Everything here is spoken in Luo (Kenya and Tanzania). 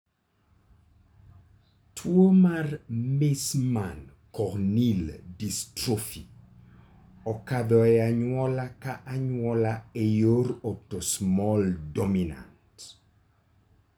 Tuwo mar Meesmann corneal dystrophy okadho e anyuola ka anyuola e yor autosomal dominant.